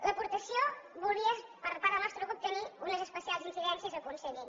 l’aportació volia per part del nostre grup tenir unes especials incidències a aconseguir